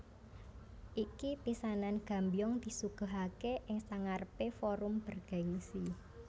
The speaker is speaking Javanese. Iki pisanan Gambyong disuguhake ing sangarepe forum bergengsi